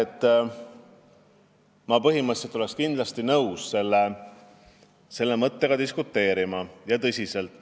Ma oleks põhimõtteliselt kindlasti nõus selle mõtte üle tõsiselt diskuteerima.